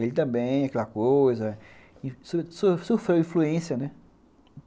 Ele também é aquela coisa, so so sofreu influência, né?